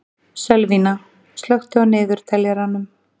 Sölvína, slökktu á niðurteljaranum.